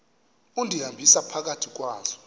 undihambisa phakathi kwazo